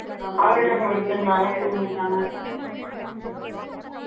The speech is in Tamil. பக்கத்துல இருந்து ஆள் எழுதிருச்ச அவங்களும் எழுதிடுவாங்க.ஆமாங்க நீங்கதான் .